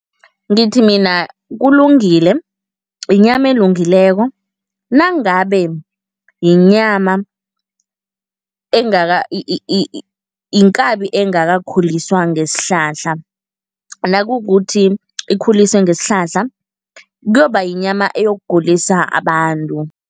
Ngithi mina kulungile, yinyama elungileko nangabe yinyama engaka inkabi engakakhuliswa ngesihlahla. Nakukuthi ikhuliswe ngesihlahla, kuyoba yinyama eyokugulisa abantu.